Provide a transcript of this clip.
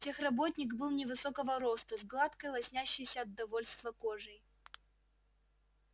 техработник был невысокого роста с гладкой лоснящейся от довольства кожей